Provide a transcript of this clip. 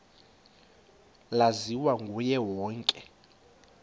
laziwa nguye wonke